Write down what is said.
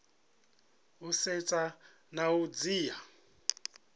u setsha na u dzhia